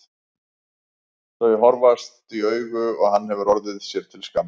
Þau horfðust í augu og hann hefur orðið sér til skammar.